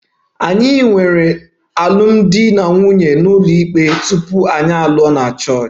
Anyị nwere alụmdi na nwunye ụlọikpe tupu anyị alụọ na Chọọchị